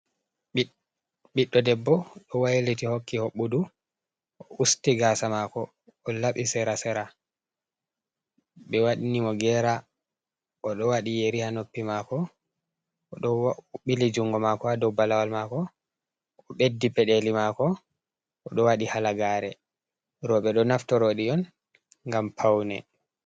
Ɓiɗɗo debbo, ɗo wailiti hokki hobbudu usti gaasa maako, o laɓi sera-sera, ɓe wanni mo gera, o ɗo waɗi yeri haa noppi maako, o ɗo ɓili jungo maako haa do balawal maako, o ɓeddi peɗeli maako, o ɗo waɗi halagaare, rooɓe ɗo naftorto ɗi on ngam paune.